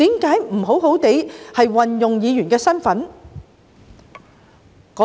為何不好好運用自己議員的身份呢？